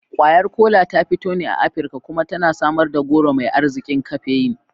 Kwayar Kola ta fito ne a Afirka kuma tana samar da goro mai arzikin kafeyin.